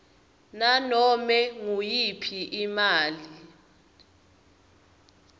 nanome nguyiphi imali